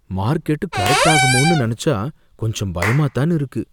Market correct ஆகுமோனு நனைச்சா கொஞ்சம் பயமாத்தான் இருக்கு.